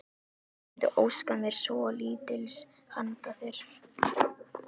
Ég mundi óska mér svolítils handa þér!